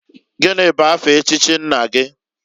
Gini bụ afa echichi nna gi?